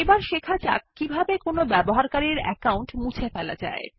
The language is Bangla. এখন শেখা যাক কিভাবে কোনো ব্যবহারকারীর অ্যাকাউন্ট মুছে ফেলা যায়